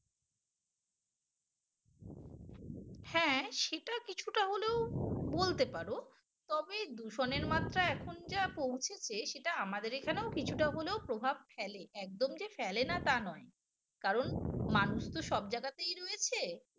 হ্যাঁ সেটা কিছুটা হলেও বলতে পারো তবে দূষণের মাত্রা এখন যা পৌঁছেছে সেটা আমাদের এখানেও কিছুটা হলে প্রভাব ফেলে একদম যে ফেলেনা তা নয় কারণ মানুষ তো সব জায়গাতেই রয়েছে।